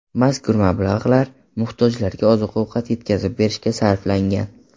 Mazkur mablag‘lar muhtojlarga oziq-ovqat yetkazib berishga sarflangan.